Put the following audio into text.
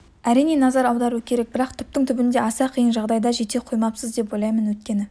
әрине назар аудару керек бірақ түптің түбінде аса қиын жағдайға жете қоймаспыз деп ойлаймын өйткені